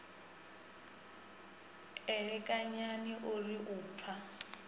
elekanyani o ri u pfa